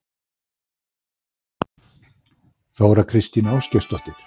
Þóra Kristín Ásgeirsdóttir: Verður þetta drengileg barátta?